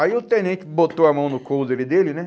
Aí o tenente botou a mão no couro dele, né?